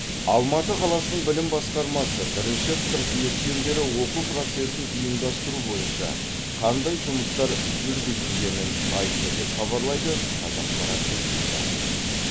алматы қаласының білім басқармасы бірінші қыркүйектен бері оқу процесін ұйымдастыру бойынша қандай жұмыстар жүргізілгенін айтты деп хабарлайды қазақпарат тілшісі